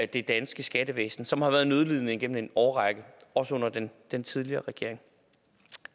det danske skattevæsen som har været nødlidende igennem en årrække også under den den tidligere regering